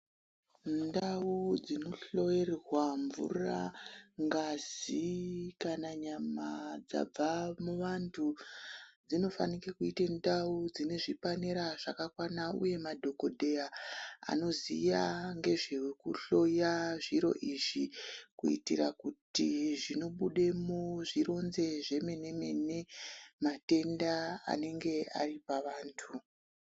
Ndau dzinohloyerwa mvura, ngazi kana nyama dzabva muvantu. Dzinofanike kuita ndau dzine zvipanera zvakakwana nauye madhogodheya anoziya ngezvekuhloya zviro izvi. Kuitira kuti zvinobudemo zvironze zvemene-mene matenda anenge ari pavantu.